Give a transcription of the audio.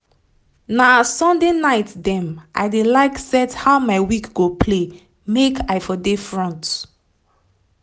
na sunday night dem i dey like set how my week go play make i for dey front